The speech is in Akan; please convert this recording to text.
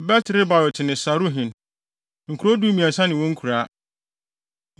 Bet-Lebaot ne Saruhen. Nkurow dumiɛnsa ne wɔn nkuraa.